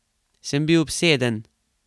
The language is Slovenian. Sem bil obseden?